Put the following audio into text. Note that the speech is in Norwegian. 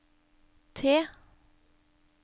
T